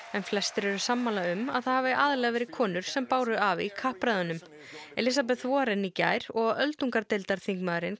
en flestir eru sammála um að það hafi aðallega verið konur sem báru af í kappræðunum Warren í gær og öldungardeildarþingmaðurinn